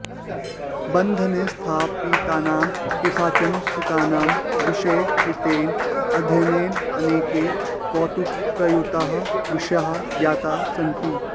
बन्धने स्थापितानां केषाञ्चन शुकानां विषये कृतेन अध्ययनेन अनेके कौतुकयुताः विषयाः ज्ञाताः सन्ति